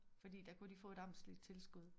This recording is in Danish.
Fordi der kunne de få et amtsligt tilskud